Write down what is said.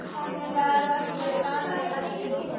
Hvar varstu vanur að leggja bílnum?